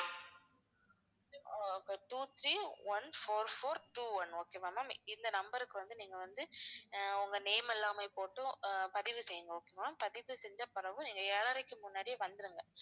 ஆஹ் two three one four four two one okay வா ma'am இந்த number க்கு வந்து நீங்க வந்து ஆஹ் உங்க name எல்லாமே போட்டு ஆஹ் பதிவு செய்யுங்க okay வா ma'am பதிவு செஞ்ச பிறகும் நீங்க ஏழரைக்கு முன்னாடியே வந்துருங்க